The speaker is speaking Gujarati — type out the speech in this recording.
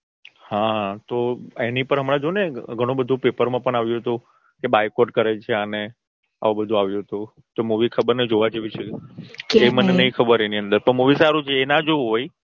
હા તો એની પણ હમણાં જોને ઘણું બધું પેપરમાં પણ આવ્યું હતું કે Bycott કરેલ છે અને આવી બધું આવ્યું હતું તો Movie ખબર નઈ જોવા જેવી છે કે નઈ. કે એની અંદર મને નઈ ખબર Movie સારું છે એ ના જોવું હોય